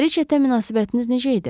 Riçetə münasibətiniz necə idi?